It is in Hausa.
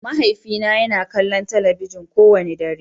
Mahaifina yana kallon talabijin kowane dare.